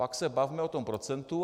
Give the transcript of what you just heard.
Pak se bavme o tom procentu.